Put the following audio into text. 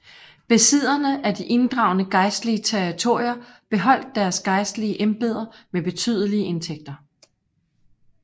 Besidderne af de inddragne gejstlige territorier beholdt deres gejstlige embeder med betydelige indtægter